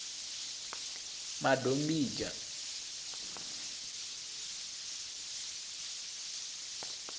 madombidzha